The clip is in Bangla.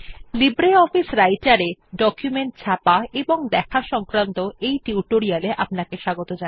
লিব্রিঅফিস রাইটের এ ডকুমেন্ট ছাপা এবং দেখা সংক্রান্ত টিউটোরিয়াল এ আপনাদের স্বাগত